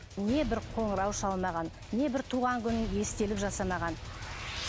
не бір қоңырау шалмаған не бір туған күніне естелік жасамаған